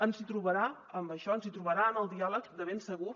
ens hi trobarà en això ens hi trobarà en el diàleg de ben segur